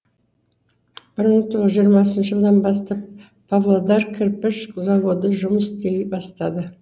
бір мың тоғыз жүз жиырмасыншы жылдан бастап павлодар кірпіш заводы жұмыс істей бастады